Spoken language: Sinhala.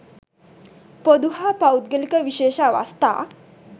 පොදු හා පෞද්ගලික විශේෂ අවස්ථා